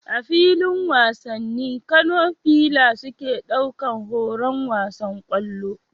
A filin wasanni, Kano fila suke ɗaukar horon wasan kwallo